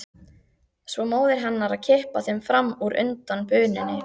Svo móðir hennar að kippa þeim fram úr undan bununni.